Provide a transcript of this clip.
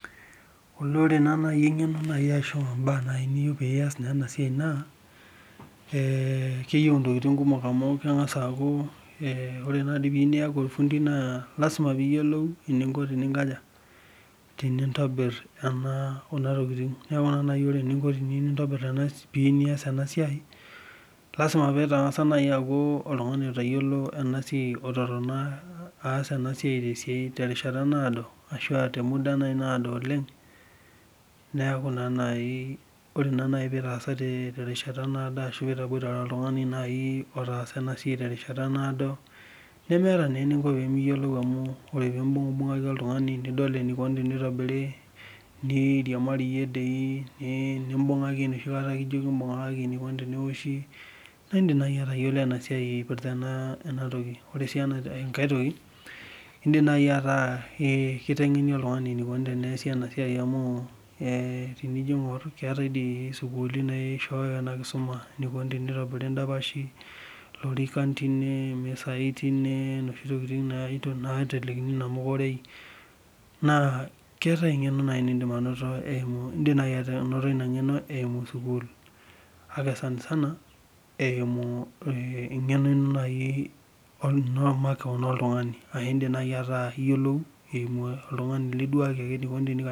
Ole ore naaji engeno ashu mbaa naaji niyeu niyiolou pee iyas ena siai naa, keyieu ntokiting kumok amu kengas aaku amu ore naadi pee iyieu niyaku orfundi naa lasima pee iyiolou eninko tenintobir kuna tokiting. Neeku ore eninko pee iyieu niyas ena siai, lasima pee ingas naaji aku oltungani otayiolo ena siai ototona terishata naado ashu temuda naaji naado oleng, neeku naa naaji ore pee itotona terishata naado ashu pee itabpoitare oltungani naaji otaasa ena siai terishata naado, nemeeta naa eninko pee miyiolou amu imbungbungaki oltungani nidol enikoni tenitobiri, niriamarie sii nimbungaki enoshi kata kijoki mbungakaki ene ,nidol enikoni tenoshi, naa indim naaji atayiolo ena siai naipirta ena toki. Ore sii enkae toki, indim naaji ata kitengeni oltungani enikoni teneesi ena siai amu tenijo aingor keetae dii sukuulini naisshooyo ena kisuma enikoni tenitobiri ndapashi, lorikan tine, misai tine ,noshi tokiting naitelekini namuka orei naa indim naaji anoto ina ngeno eimu sukul. Kake sanisana eimu naaji engeno ino omakeon oltungani aa idim naaji niyiolou iduaki oltungani.